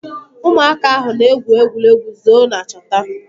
Ụmụaka ahụ na egwu egwuregwu zọọ na chọta.